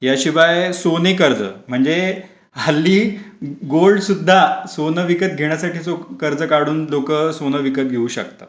याशिवाय सोने कर्ज म्हणजे हल्ली गोड सुद्धा सोन विकत घेण्यासाठी जो कर्ज काढून लोक सोना विकत घेऊ शकतात.